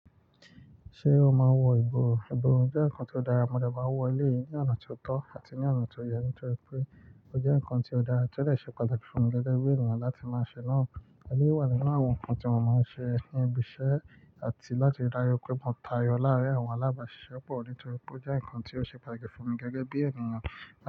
Ṣé o máa ń wọ ìborùn? Ìborùn jẹ́ ǹkan tó dára, mo dà bá wọ ilé yìí ní ọ̀nà tó tọ́ àti ní ọ̀nà tó yẹ nítorí pé ó jẹ́ ǹkan tó dára tí ó dè ṣe pàtàkì fún mi gẹ́gẹ́ bí ènìyàn láti máa ṣe náà. Ẹlèyí wá ni nu awọn ǹkan tí mo máa ń ṣe ní ibi iṣẹ́ àti láti rí dájú pé mò ń tayọ láàárín àwọn alábàáṣiṣẹ́ pọ̀ nítorí pé ó jẹ́ ǹkan tí ó ṣe pàtàkì fún mi gẹ́gẹ́ bí ènìyàn.